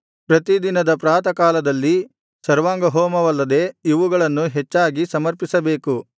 ಪ್ರತಿ ದಿನದ ಪ್ರಾತಃಕಾಲದಲ್ಲಿ ಸರ್ವಾಂಗಹೋಮವಲ್ಲದೆ ಇವುಗಳನ್ನು ಹೆಚ್ಚಾಗಿ ಸಮರ್ಪಿಸಬೇಕು